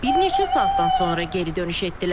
Bir neçə saatdan sonra geri dönüş etdilər.